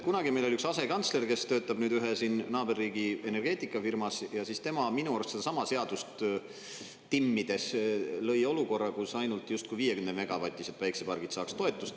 Kunagi meil oli üks asekantsler, kes töötab nüüd ühe siin naaberriigi energeetikafirmas, ja siis tema minu arust sedasama seadust timmides lõi olukorra, kus ainult justkui 50-megavatised päikesepargid saaks toetust.